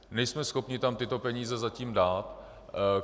Nejsme schopni tam tyto peníze zatím dát.